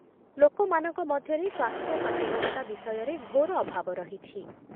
ଲୋକମାନଙ୍କ ମଧ୍ୟରେ ସ୍ୱାସ୍ଥ୍ୟ ସଚେତନତା ବିଷୟରେ ଘୋର ଅଭାବ ରହିଛି